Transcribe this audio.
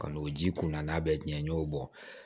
Ka n'o ji kunna n'a bɛɛ jɛ n y'o bɔ